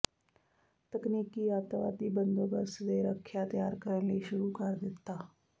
ਤਕਨੀਕੀ ਅੱਤਵਾਦੀ ਬੰਦੋਬਸਤ ਦੇ ਰੱਖਿਆ ਤਿਆਰ ਕਰਨ ਲਈ ਸ਼ੁਰੂ ਕਰ ਦਿੱਤਾ